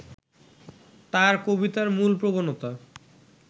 তাঁর কবিতার মূল প্রবণতা